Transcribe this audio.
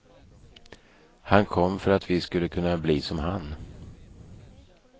Han kom för att vi skulle kunna bli som han.